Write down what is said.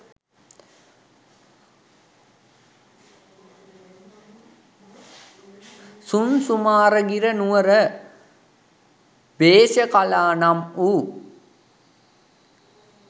සුංසුමාරගිර නුවර භේසකලා නම් වූ,